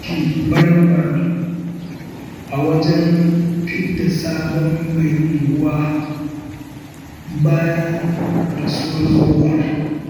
An tashi baram-baran, a wajen fidda sabon mai unguwa, bayan rasuwar tsohon.